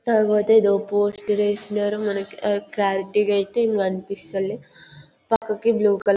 కాకపోతే ఇది పోస్టర్ చేసినారు మనకైతే క్లారిటీ గా అయితే ఏం కనిపిస్తాలే పక్కకి బ్లూ కలరు --